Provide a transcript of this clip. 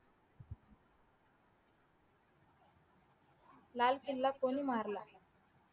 लाल किला कोणी मारला